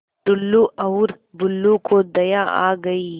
टुल्लु और बुल्लु को दया आ गई